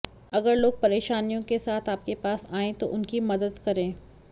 अगर लोग परेशानियों के साथ आपके पास आएं तो उनकी मदद करें